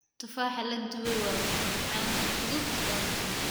Tufaaxa la dubay waa macmacaan fudud oo macaan.